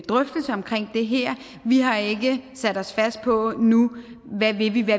drøftelse om det her vi har ikke sat os fast på nu hvad vi vil